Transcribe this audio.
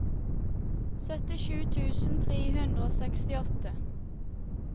syttisju tusen tre hundre og sekstiåtte